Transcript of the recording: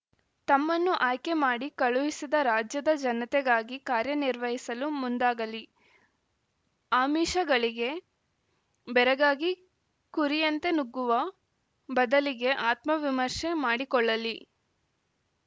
ತಮ್ಮನ್ನು ಆಯ್ಕೆ ಮಾಡಿ ಕಳುಹಿಸಿದ ರಾಜ್ಯದ ಜನತೆಗಾಗಿ ಕಾರ್ಯ ನಿರ್ವಹಿಸಲು ಮುಂದಾಗಲಿ ಆಮಿಷಗಳಿಗೆ ಬೆರಗಾಗಿ ಕುರಿಯಂತೆ ನುಗ್ಗುವ ಬದಲಿಗೆ ಆತ್ಮ ವಿಮರ್ಶೆ ಮಾಡಿಕೊಳ್ಳಲಿ